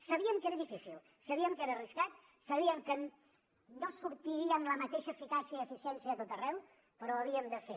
sabíem que era difícil sabíem que era arriscat sabíem que no sortiria amb la mateixa eficàcia i eficiència a tot arreu però ho havíem de fer